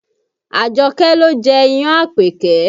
Àjọkẹ́ ló jẹ́ iyán an Àpèkẹ́